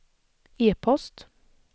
e-post